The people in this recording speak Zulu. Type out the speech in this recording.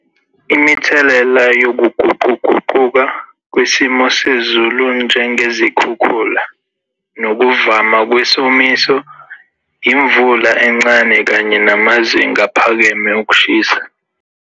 Imithelela yokuguquguquka kwesimo sezulu njengezikhukhula nokuvama kwesomiso, imvula encane kanye namazinga aphakeme okushisa.